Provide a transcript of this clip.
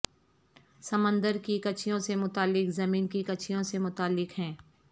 سمندر کی کچھیوں سے متعلق زمین کی کچھیوں سے متعلق ہیں